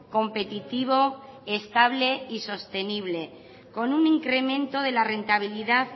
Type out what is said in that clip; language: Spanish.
competitivo estable y sostenible con un incremento de la rentabilidad